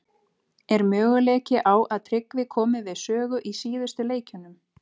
Er möguleiki á að Tryggvi komi við sögu í síðustu leikjunum?